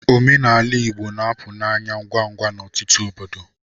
Omenala Igbo na-apụ n'anya ngwa ngwa n'ọtụtụ obodo.